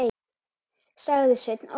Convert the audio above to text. sagði Sveinn Óli.